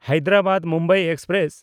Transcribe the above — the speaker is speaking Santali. ᱦᱟᱭᱫᱨᱟᱵᱟᱫ–ᱢᱩᱢᱵᱟᱭ ᱮᱠᱥᱯᱨᱮᱥ